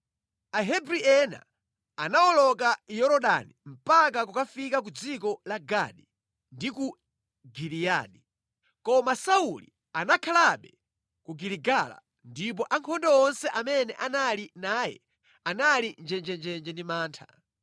Ahebri ena anawoloka Yorodani mpaka kukafika ku dziko la Gadi ndi ku Giliyadi. Koma Sauli anakhalabe ku Giligala ndipo ankhondo onse amene anali naye anali njenjenje ndi mantha.